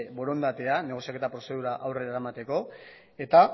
borondatea negoziaketa prozedura aurrera eramateko eta